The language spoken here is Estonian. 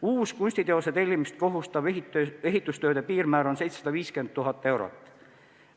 Uus kunstiteose tellimist kohustav ehitustööde piirmäär on 750 000 eurot.